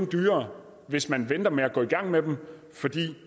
dyrere hvis man venter med at gå i gang med dem for